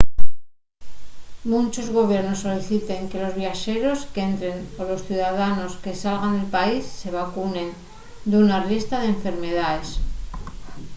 munchos gobiernos soliciten que los viaxeros qu’entren o los ciudadanos que salgan del país se vacunen d’una riestra d’enfermedaes